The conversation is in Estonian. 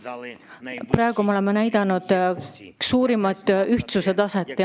Selle kahe aasta jooksul me oleme üles näidanud kõrget ühtsuse taset.